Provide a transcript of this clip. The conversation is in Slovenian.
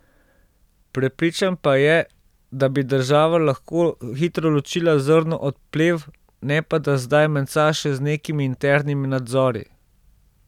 Prepričan pa je, da bi država lahko hitro ločila zrno od plev, ne pa da zdaj menca še z nekimi internimi nadzori.